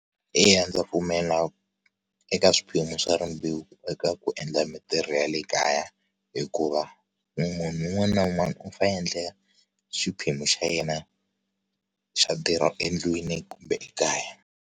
Eya, ndza pfumela eka swiphemu swa rimbewu eka ku endla mintirho ya le kaya hikuva munhu un'wana na un'wana u a endla xiphemu xa yena xa ntirho endlwini kumbe ekaya.